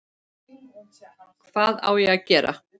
Hvað á ég að gera?